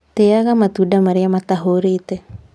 Tĩaga matunda marĩa matahũrĩte